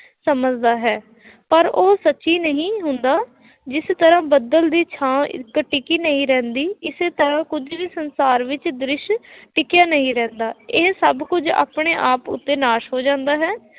ਸਮਝਦਾ ਹੈ, ਪਰ ਉਹ ਸੱਚੀ ਨਹੀਂ ਹੁੰਦਾ, ਜਿਸ ਤਰ੍ਹਾਂ ਬੱਦਲ ਦੀ ਛਾਂ ਇੱਕ ਟਿਕੀ ਨਹੀਂ ਰਹਿੰਦੀ, ਇਸੇ ਤਰ੍ਹਾ ਕੁੱਝ ਵੀ ਸੰਸਾਰ ਵਿੱਚ ਦ੍ਰਿਸ਼ ਟਿਕਿਆ ਨਹੀਂ ਰਹਿੰਦਾ, ਇਹ ਸਭ ਕੁੱਝ ਆਪਣੇ ਆਪ ਉੱਤੇ ਨਾਸ ਹੋ ਜਾਂਦਾ ਹੈ।